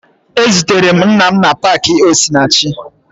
Ezutere m nna m na paakị Osinachi